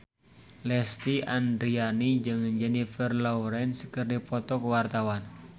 Lesti Andryani jeung Jennifer Lawrence keur dipoto ku wartawan